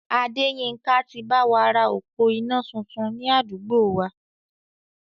Adéyínká ti báwa ra òpó iná tuntun ni àdúgbò wa